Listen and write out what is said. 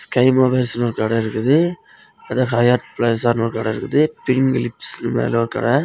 Sky மொபைல்ஸ்னு ஒரு கடெ இருக்குது ஹயாத் பிளாசான்னு ஒரு கடெ இருக்குது பிங்க் லிப்ஸ் னு மேல ஒரு கடெ.